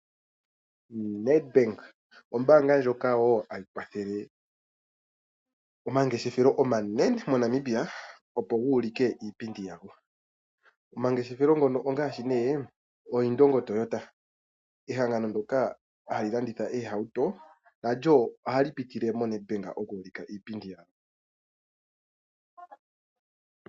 NedBank Ombaanga ndjoka hayi kwathele omangeshefelo omanene moNamibia opo guulike iipindi yago. Omangeshefelo ngono ongaashi nee Indongo Toyota ehangano ndoka hali landitha oohauto nalyo ohali pitile moNadbank oku ulika iipindi yawo.